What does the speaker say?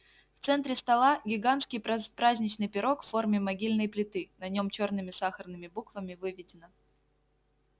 в центре стола гигантский праздничный пирог в форме могильной плиты на нём чёрными сахарными буквами выведено